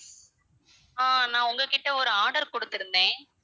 ஆஹ் நான் உங்ககிட்ட ஒரு order குடுத்திருந்தேன்.